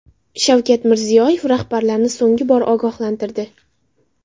Shavkat Mirziyoyev rahbarlarni so‘nggi bor ogohlantirdi .